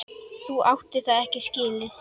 Þú áttir það ekki skilið.